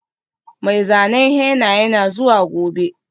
Mai zanen henna yana zuwa gobe.